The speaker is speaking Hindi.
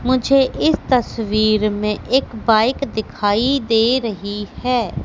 मुझे इस तस्वीर में एक बाइक दिखाई दे रही हैं।